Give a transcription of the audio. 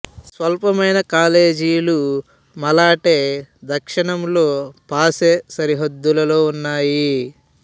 స్వల్పమైన మిగిలిన కాలేజీలు మలాటే దక్షిణంలో పాసే సరిహద్దులో ఉన్నాయి